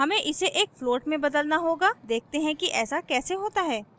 हमें इसे एक float में बदलना होगा देखते हैं कि ऐसा कैसे होता है;